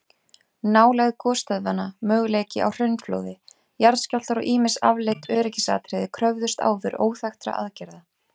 Nálægð gosstöðvanna, möguleiki á hraunflóði, jarðskjálftar og ýmis afleidd öryggisatriði kröfðust áður óþekktra aðgerða.